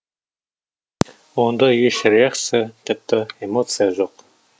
онда еш реакция тіпті эмоция жоқ